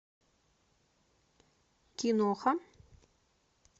киноха